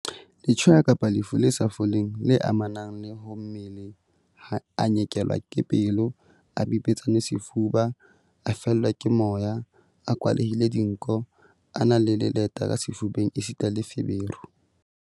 Letshweya kapa lefu le sa foleng le amanang le ho mmele, a nyekelwa ke pelo, a bipetsane sefuba, a fellwa ke moya, a kwalehile dinko, a na le leleta ka sefubeng esita le feberu.